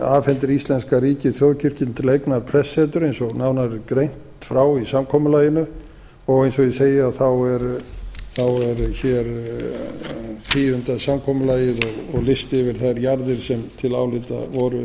afhendir íslenska ríkið þjóðkirkjunni til eignar prestssetur eins og nánar er greint frá í samkomulaginu og eins og ég segi þá er hér tíundað samkomulagið og listi yfir þær jarðir sem til álita